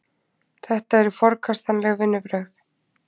Þetta eru forkastanleg vinnubrögð